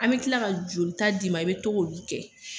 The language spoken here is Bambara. An bi kila ka joli ta d'i ma i bi togo olu kɛ.